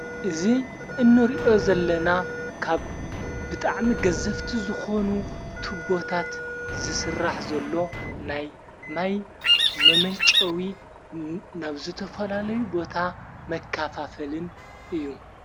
እዙይ እንርእዮ ዘለና ካብ ብጥዕሚ ገዘፍቲ ዝኾኑ ትቦታት ዝሥራሕ ዘሎ ናይ ማይ መመንጨዊ ናብዘ ተፈላለዩ ቦታ መካፋፈልን እዩ።